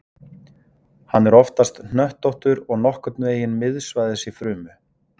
hann er oftast hnöttóttur og nokkurn veginn miðsvæðis í frumu